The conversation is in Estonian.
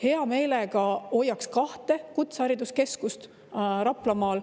Hea meelega hoiaks kahte kutsehariduskeskust Raplamaal.